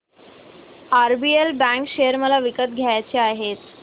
RBL bank share मला विकत घ्यायचे आहेत